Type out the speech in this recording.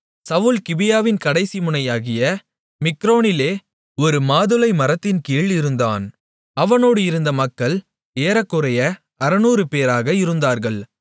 சவுல் கிபியாவின் கடைசி முனையாகிய மிக்ரோனிலே ஒரு மாதுளைமரத்தின்கீழ் இருந்தான் அவனோடு இருந்த மக்கள் ஏறக்குறைய 600 பேராக இருந்தார்கள்